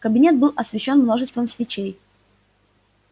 кабинет был освещён множеством свечей